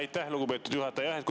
Aitäh, lugupeetud juhataja!